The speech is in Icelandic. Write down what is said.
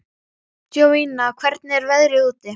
Jovina, hvernig er veðrið úti?